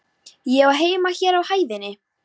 Ég á heima hér á hæðinni.